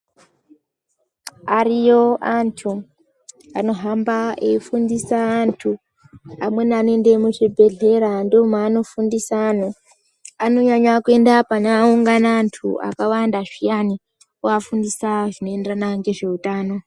Ariyo antu, anohamba eifundisa antu. Amweni anoende muzvibhehlera ndomwanofundisa antu. Anonyanya kuenda paanoungana antu akawanda zviyana, ovafundisa zvinoenderana ngezve utano.